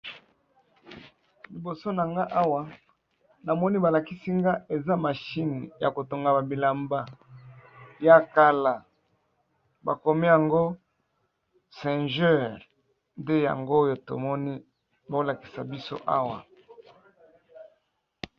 Liboso na nga awa namoni balakisi nga eza mashine ya kotonga ba bilamba ya kala bakomi yango singeur nde yango oyo tomoni bakolakisa biso awa.